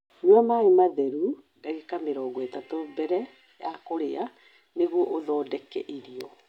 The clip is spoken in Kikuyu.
Nyua maĩ matheru ndagĩka 30 mbere ya kũrĩa nĩguo ũthondeke irio.